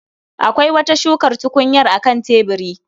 Akwai wata shukar tukunyar a kan tebiri